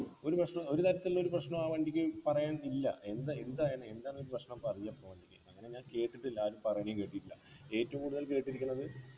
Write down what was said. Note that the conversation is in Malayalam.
ഒരു പ്രശ്നോ ഒരു തരത്തിലില്ല ഒരു പ്രശ്നോ ആ വണ്ടിക്ക് പറയാൻ ഇല്ല എന്താ എന്താ എന്താ അതിനു എന്താണൊരു പ്രശ്നം പറയ്ആ ഇപ്പൊ വണ്ടിക്ക് അങ്ങനെ ഞാൻ കേട്ടിട്ടില്ല ആരും പറയനേം കേട്ടിട്ടില്ല ഏറ്റവും കൂടുതൽ കേട്ടിരിക്കുന്നത്